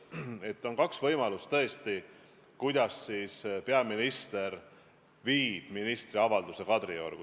Tõesti, on kaks võimalust, kuidas peaminister saab ministri avalduse Kadriorgu viia.